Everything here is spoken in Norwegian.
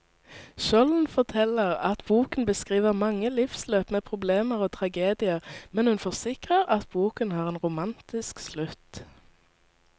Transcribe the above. Skjolden forteller at boken beskriver mange livsløp med problemer og tragedier, men hun forsikrer at boken har en romantisk slutt.